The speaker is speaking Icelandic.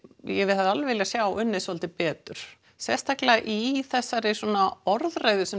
ég hefði alveg viljað sá unnið svolítið betur sérstaklega í þessari orðræðu sem